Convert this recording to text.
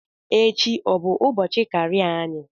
Echi ọ bụ ụbọchị karịa anyị?